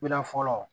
Mira fɔlɔ